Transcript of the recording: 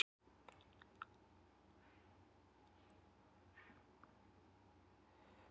Það kemur í hugann að forseti hefur talað um hvað orðið mannvirki sé fallegt.